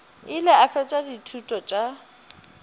ile a fetša dithuto tša